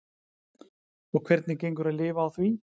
Og hvernig gengur að lifa á því?